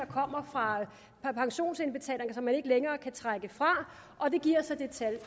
kommer fra pensionsindbetalinger som ikke længere kan trækkes fra og det giver så det tal